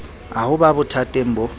a ho ba bothateng bo